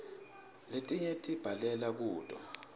letinye sibhalela kuto